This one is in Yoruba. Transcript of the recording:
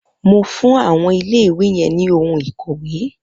Mo fún ọmọ iléìwè yẹn ní ohun ìkọ̀wé